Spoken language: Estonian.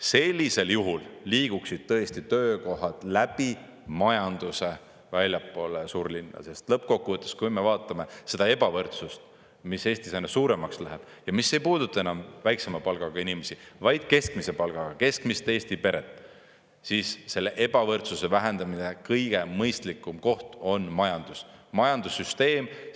Sellisel juhul liiguksid tõesti töökohad läbi majanduse väljapoole suurlinnu, sest lõppkokkuvõttes, kui me vaatame seda ebavõrdsust, mis Eestis aina suuremaks läheb ja mis ei puuduta enam väiksema palgaga inimesi, vaid keskmise palgaga keskmist Eesti peret, siis selle ebavõrdsuse vähendamise kõige mõistlikum koht on majandus, majandussüsteem.